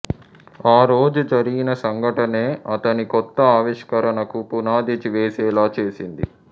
ఆ రోజు జరిగిన సంఘటనే అతన్ని కొత్త ఆవిష్కరణకు పునాది వేసేలా చేసింది